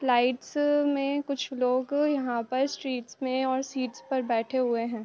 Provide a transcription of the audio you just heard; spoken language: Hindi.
लाइट्स में कुछ लोग यहाँ पर स्ट्रीट्स में और सीट्स पर बैठे हुए हैं।